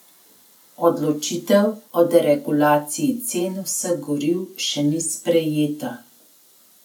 Odločitev o deregulaciji cen vseh goriv še ni sprejeta.